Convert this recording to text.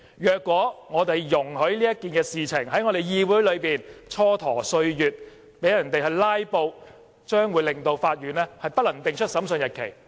如果我們容許這件事在我們的議會內蹉跎歲月，讓人"拉布"，將令法院不能定出審訊日期。